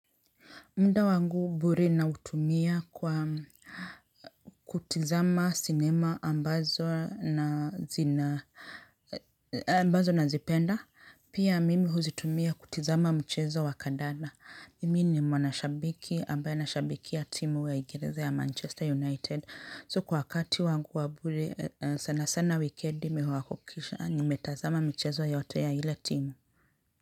Muda wangu bure nautumia kwa kutizama cinema ambazo na zina, ambazo nazipenda. Pia mimi huzitumia kutizama mchezo wa kadanda. Mimi ni mwanashabiki ambaye anashabikia timu wa uingereza ya Manchester United. So kwa wakati wangu wa bure sana sana wikendi mimi huhakikisha nimetazama michezo yote ya ile timu.